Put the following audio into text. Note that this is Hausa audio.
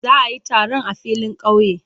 Za a yi taron a filin kauye.